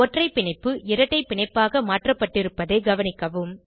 ஒற்றை பிணைப்பு இரட்டை பிணைப்பாக மாற்றப்பட்டிருப்பதை கவனிக்கவும்